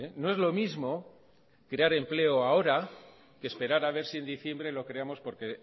no es lo mismo crear empleo ahora que esperar a ver si en diciembre lo creamos porque